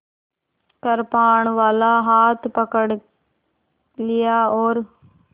कृपाणवाला हाथ पकड़ लिया और